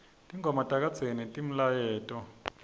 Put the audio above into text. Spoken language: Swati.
tingoma takadzeni tinemlayeto